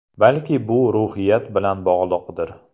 Balki bu ruhiyat bilan bog‘liqdir.